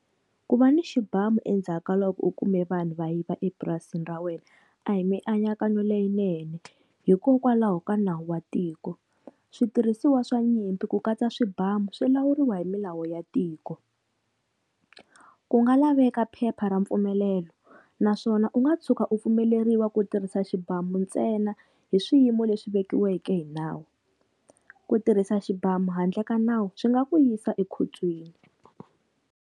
Ku va ni xibamu endzhaka loko u kume vanhu va yiva epurasini ra wena, a hi mianakanyo leyinene hikokwalaho ka nawu wa tiko. Switirhisiwa swa nyimpi ku katsa swibamu swi lawuriwa hi milawu ya tiko, ku nga laveka phepha ra mpfumelelo naswona u nga tshuka u pfumeleriwa ku tirhisa xibamu ntsena hi swiyimo leswi vekiweke hi nawu, ku tirhisa xibamu handle ka nawu swi nga ku yisa ekhotsweni.